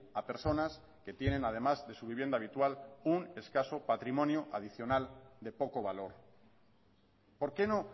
a personas que tienen además de su vivienda habitual un escaso patrimonio adicional de poco valor por qué no